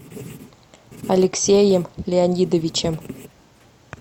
алексеем леонидовичем